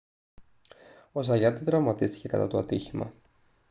ο ζαγιάτ δεν τραυματίστηκε κατά το ατύχημα